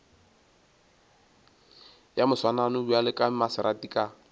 ya moswanano bjale maserati ka